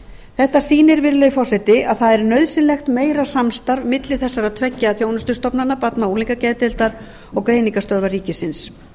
þetta sýnir virðulegi forseti að það er nauðsynlegt meira samstarf milli þessara tveggja þjónustustofnana barna og unglingageðdeildar og greiningarstöðvar ríkisins